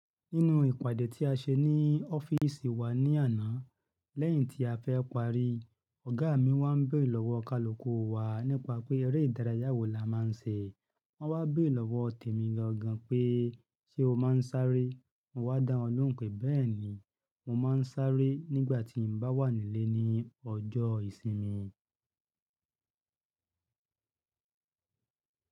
Nínú ìpàdé tí a ṣe ní ọ́fíìsì wa ní àná, lẹ́yìn tí a fẹ́ parí, ọ̀gá mi wá ń béèrè lọ́wọ́ kaluku wa nípa pé eré ìdárayá wo la máa ń ṣe. Wọ́n wá béèrè lọ́wọ́ Tèmí gangan pé ṣe o máa ń sáré? Mọ́ wá dá wọn lóhùn pé bẹ́ẹ̀ni, mo máa ń sáré nígbà tí mo bá wà nílé ní ọjọ́ ìsinmi.